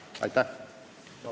Aitäh!